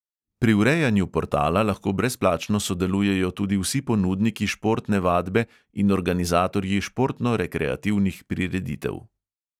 Pri urejanju portala lahko brezplačno sodelujejo tudi vsi ponudniki športne vadbe in organizatorji športno-rekreativnih prireditev.